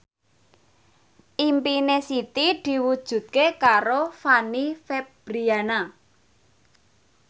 impine Siti diwujudke karo Fanny Fabriana